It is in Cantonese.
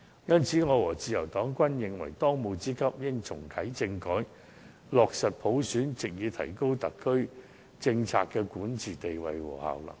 因此，我和自由黨均認為，當務之急是重啟政改，落實普選，藉以提高特區政府的管治地位和效能。